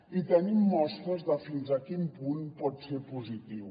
i tenim mostres de fins a quin punt pot ser positiu